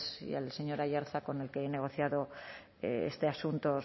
y al señor aiartza con el que he negociado este asunto